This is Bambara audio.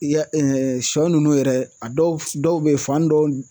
I y'a sɔ ninnu yɛrɛ a dɔw dɔw bɛ yen fan dɔw